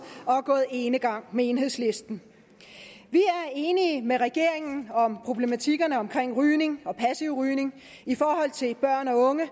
og har gået enegang med enhedslisten vi er enige med regeringen om problematikkerne omkring rygning og passiv rygning i forhold til børn og unge